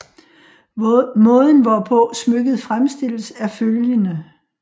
Måden hvorpå smykket fremstilles er følgende